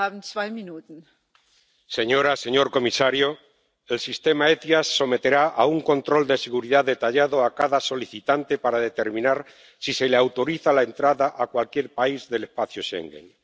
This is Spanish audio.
Señora presidenta, señor comisario, el sistema SEIAV someterá a un control de seguridad detallado a cada solicitante para determinar si se le autoriza la entrada a cualquier país del espacio Schengen.